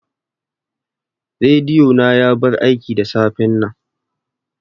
Rediyo na ya bar aiki da safen nan